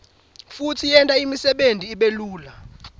futsi yenta imsebenti ibelula